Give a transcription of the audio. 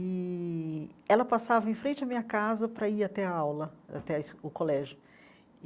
E ela passava em frente à minha casa para ir até a aula, até a es o colégio.